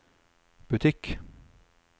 butikk